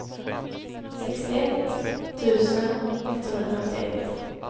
sextioett tusen etthundrafemtioett